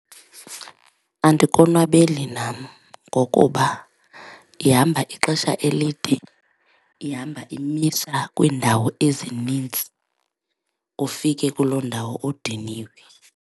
Andikonwabeli nam ngokuba ihamba ixesha elide, ihamba imisa kwiindawo ezinintsi ufike kuloo ndawo udiniwe.